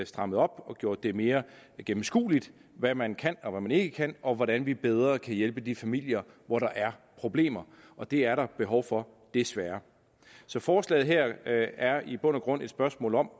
strammet op og gjort det mere gennemskueligt hvad man kan og hvad man ikke kan og hvordan vi bedre kan hjælpe de familier hvor der er problemer og det er der behov for desværre så forslaget her er i bund og grund et spørgsmål om